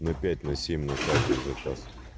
на пять на семь на каждый заказ